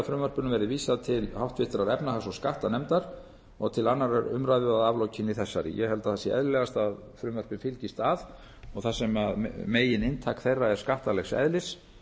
verði vísað til háttvirtrar efnahags og skattanefndar og til annarrar umræðu að aflokinni þessari ég held að það sé eðlilegast að frumvörpin fylgist að og þar sem megininntak þeirra er skattalegs eðlis